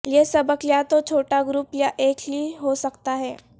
یہ سبق یا تو چھوٹا گروپ یا ایک ہی ہو سکتا ہے